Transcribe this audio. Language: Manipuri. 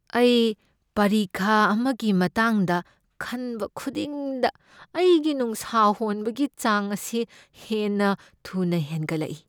ꯑꯩ ꯄꯔꯤꯈꯥ ꯑꯃꯒꯤ ꯃꯇꯥꯡꯗ ꯈꯟꯕ ꯈꯨꯗꯤꯡꯗ ꯑꯩꯒꯤ ꯅꯨꯡꯁꯥ ꯍꯣꯟꯕꯒꯤ ꯆꯥꯡ ꯑꯁꯤ ꯍꯦꯟꯅ ꯊꯨꯅ ꯍꯦꯟꯒꯠꯂꯛꯏ ꯫